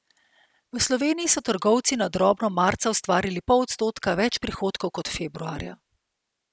V Sloveniji so trgovci na drobno marca ustvarili pol odstotka več prihodkov kot februarja.